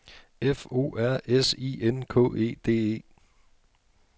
F O R S I N K E D E